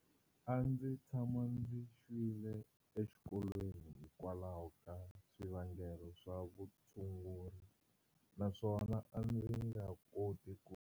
A ndzi tshama ndzi xwile exikolweni hi kwalaho ka swivangelo swa vutshunguri naswona a ndzi nga koti ku.